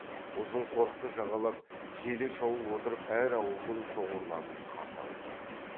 ұзын қорықты жағалап желе шауып отырып әр ауылдың шоғырларын қарсы алып жүр